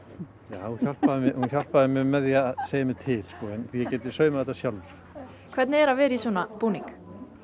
hún hjálpaði hjálpaði mér með því að segja mér til en ég gæti saumað þetta sjálfur hvernig er að vera í svona búning